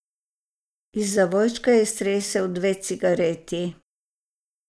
Iz zavojčka je iztresel dve cigareti.